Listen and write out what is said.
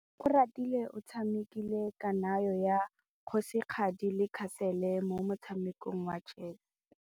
Oratile o tshamekile kananyô ya kgosigadi le khasêlê mo motshamekong wa chess.